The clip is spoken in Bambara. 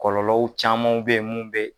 Kɔlɔlɔw camanw beye mun be